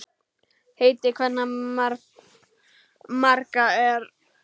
Heiti kvenna margra er.